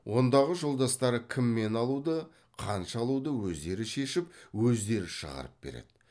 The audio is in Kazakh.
ондағы жолдастары кімнен алуды қанша алуды өздері шешіп өздері шығарып береді